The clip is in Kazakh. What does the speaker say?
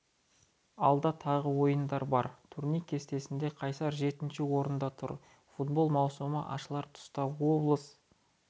алда тағы ойын бар турнир кестесінде қайсар жетінші орында тұр футбол маусымы ашылар тұста облыс